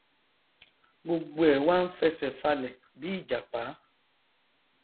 gbogbo ẹ wá n fẹsẹ falẹ bí ìjàpá